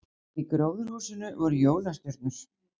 Í gróðurhúsinu voru jólastjörnur